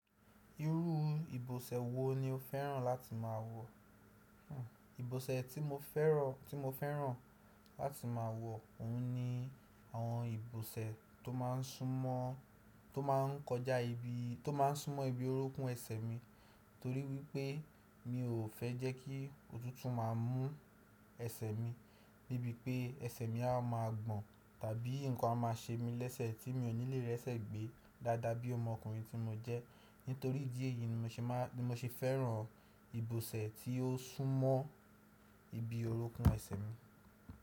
Irú ìbòsẹ̀ wo ni o fẹ́ràn láti máa wọ̀? Ìbòsẹ̀ tí mo fẹ́ràn láti máa wọ̀, òun ni àwọn ìbòsẹ̀ to maa n sumo tó máa ń kọjá ibi tó máa ń súnmọ́ ibi orókún ẹsẹ̀ mi, torí wípé mi ò fẹ́ jẹ́ kí òtútù máa mú ẹsẹ̀ mi níbi pé ẹsẹ̀ mi a má gbọ̀n tàbí nǹkan a máa ṣe mi lẹ́sẹ̀ tí mi ò ní lè rẹ́sẹ̀ gbé dáadáa bí ọmọkùnrin tí mo jẹ́. Nítorí ìdí èyí ni mo ṣe fẹ́ràn ìbòsẹ̀ tí ó súnmọ́ ibi orókún ẹsẹ̀ mi.